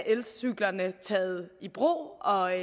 elcyklerne taget i brug og